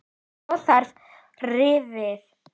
Svo var það rifið.